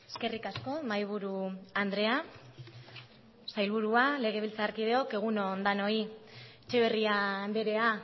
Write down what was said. eskerrik asko mahaiburu andrea sailburua legebiltzarkideok egun on denoi etxeberria andrea